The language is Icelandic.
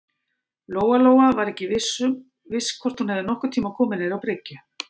Lóa-Lóa var ekki viss hvort hún hefði nokkurn tíma komið niður á bryggju.